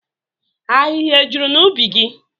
Ahịhịa e juru n'ubi gị?